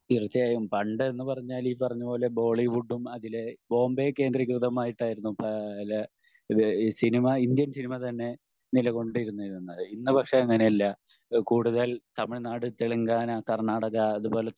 തീർച്ചയായും. പണ്ട് എന്ന് പറഞ്ഞാല് ഈ പറഞ്ഞപോലെ ബോളിവുഡും അതിലെ ബോംബെ കേന്ദ്രികൃതമായിട്ടായിരുന്നു പല ഇത് സിനിമ ഇന്ത്യൻ സിനിമ തന്നെ നിലകൊണ്ട് ഇരുന്നിരുന്നത്. ഇന്ന് പക്ഷെ അങ്ങിനെ അല്ല കൂടുതൽ തമിഴ്‌നാട് തെലങ്കാന കർണാടക അതുപോലെ